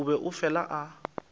o be a fela a